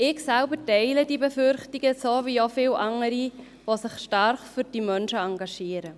Ich selber teile die Befürchtungen, wie auch viele andere, die sich stark für diese Menschen engagieren.